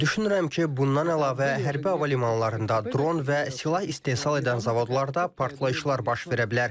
Düşünürəm ki, bundan əlavə hərbi hava limanlarında dron və silah istehsal edən zavodlarda partlayışlar baş verə bilər.